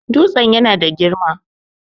Dutsen yana da girma